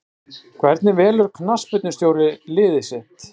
Hvernig velur knattspyrnustjóri lið sitt?